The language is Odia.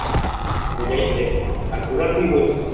ମୁଇଁ ଯାଇଛେ ଆଉ ଘୋଡା ଥି ବସିଚେ